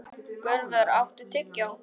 Gunnvör, áttu tyggjó?